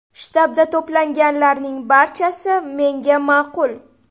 Shtabda to‘planganlarning barchasi menga ma’qul.